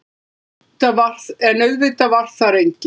En auðvitað var þar enginn.